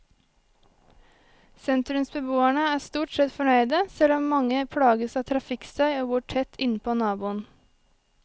Sentrumsbeboerne er stort sett fornøyde selv om mange plages av trafikkstøy og bor tett innpå naboen.